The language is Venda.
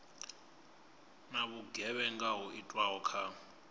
na vhugevhenga ho itwaho kha